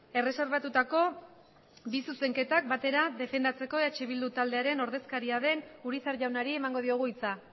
erreserbatutako bi zuzenketak batera defendatzeko eh bildu taldearen ordezkaria den urizar jaunari emango diogu hitza